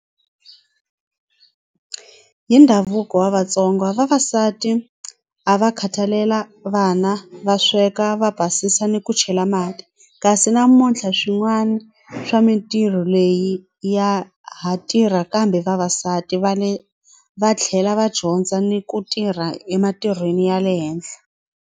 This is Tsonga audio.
Hi ndhavuko wa Vatsonga vavasati a va khathalela vana va sweka va basisa ni ku chela mati kasi namuntlha swin'wana swa mintirho leyi ya ha tirha kambe vavasati va le va tlhela va dyondza ni ku tirha ematirhweni ya le henhla.